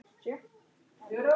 Já, ég veit það